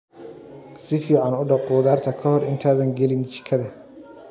Si fiican u dhaq khudaarta ka hor intaadan gelin jikada.